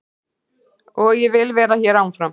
Og ég vil vera hér áfram.